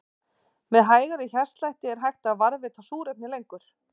Með hægari hjartslætti er hægt að varðveita súrefni lengur.